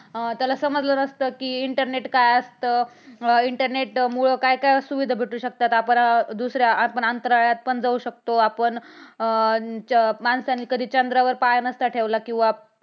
अं त्याला समजलं नसतं कि internet काय असतं internet मुळ काय - काय सुविधा भेटू शकतात. आपण दुसऱ्या अंतराळात पण जाऊ शकतो. माणसाने चंद्रावर कधी पाय नसता ठेवला किंवा